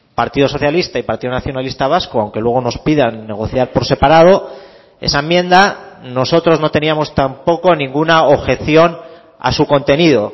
partido socialista y partido nacionalista vasco aunque luego nos pidan negociar por separado esa enmienda nosotros no teníamos tampoco ninguna objeción a su contenido